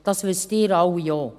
Sie alle wissen das auch.